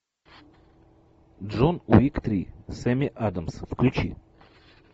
джон уик три с эми адамс включи